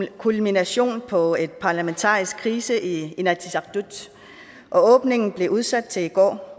kulmination på en parlamentarisk krise i inatsisartut og åbningen blev udsat til i går